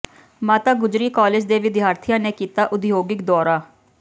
ਮਾਤਾ ਗੁਜਰੀ ਕਾਲਜ ਦੇ ਵਿਦਿਆਰਥੀਆਂ ਨੇ ਕੀਤਾ ਉਦਯੋਗਿਕ ਦੌਰਾ